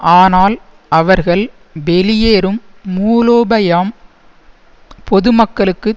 ஆனால் அவர்கள் வெளியேறும் மூலோபயாம் பொதுமக்களுக்கு